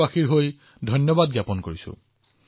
দেশবাসীৰ হৈ মই আপোনাক ধন্যবাদ জনাইছো